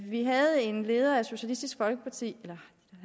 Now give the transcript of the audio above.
vi havde en leder af socialistisk folkeparti